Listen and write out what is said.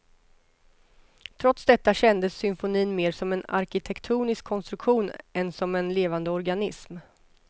Trots detta kändes symfonin mer som en arkitektonisk konstruktion än som en levande organism.